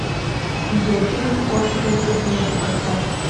видеофильм острые предметы поставь